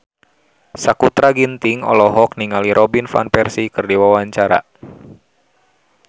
Sakutra Ginting olohok ningali Robin Van Persie keur diwawancara